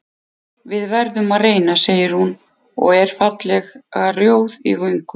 Við verðum að reyna, segir hún og er fallega rjóð í vöngum.